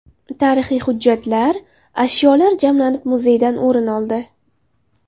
Tarixiy hujjatlar, ashyolar jamlanib, muzeydan o‘rin oldi.